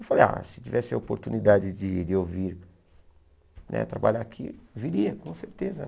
Eu falei, ah, se tivesse a oportunidade de de eu vir né trabalhar aqui, viria, com certeza.